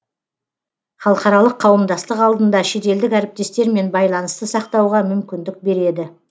халықаралық қауымдастық алдында шетелдік әріптестермен байланысты сақтауға мүмкіндік береді